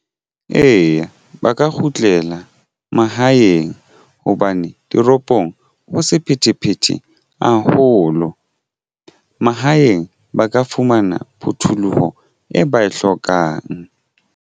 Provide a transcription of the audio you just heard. Eya, ba ka kgutlela mahaeng hobane toropong ho sephethephethe haholo. Mahaeng ba ka fumana phuthuloho e ba e hlokang.